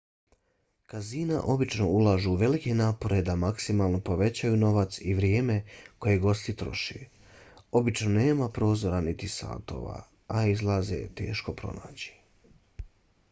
kazina obično ulažu velike napore da maksimalno povećaju novac i vrijeme koje gosti troše. obično nema prozora niti satova a izlaze je teško pronaći